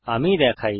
আমি দেখাই